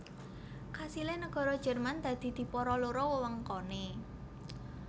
Kasilé nagara Jerman dadi dipara loro wewengkoné